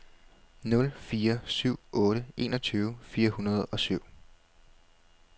nul fire syv otte enogtyve fire hundrede og syv